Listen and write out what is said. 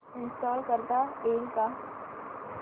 install करता येईल का